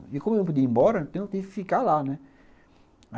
E como eu não podia ir embora, eu tentei ficar lá, né?